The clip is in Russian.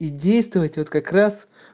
и действовать вот как раз